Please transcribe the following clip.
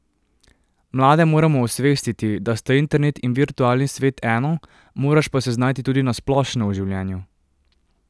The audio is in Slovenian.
Mlade moramo osvestiti, da sta internet in virtualni svet eno, moraš pa se znajti tudi na splošno v življenju.